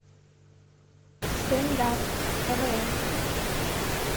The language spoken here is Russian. стендап квн